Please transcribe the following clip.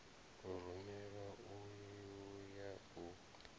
o rumelwaho u ya u